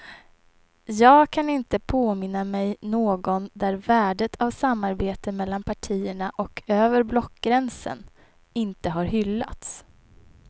Jag kan inte påminna mig någon där värdet av samarbete mellan partierna och över blockgränsen inte har hyllats.